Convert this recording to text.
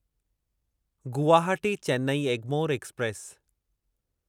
Guwahati Chennai Egmore express